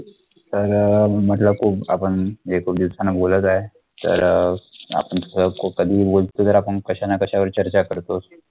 तर अं म्हटलं खूप आपण खूप दिवसाने बोलत आहे, तर अं आपण आपण कश्या ना कश्यावर चर्चा करतोच